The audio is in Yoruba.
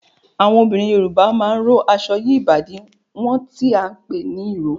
Àwọn obìnrin Yorùbá máa ń rò aṣọ yí ìbàdí wọn tí a ń pè ní ìró